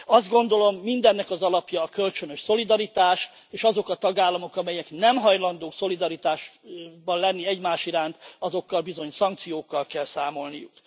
Azt gondolom, mindennek az alapja a kölcsönös szolidaritás, és azok a tagállamok, amelyek nem hajlandók szolidaritásban lenni egymás iránt, azokkal bizony szankciókkal kell számolniuk.